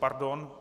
Pardon.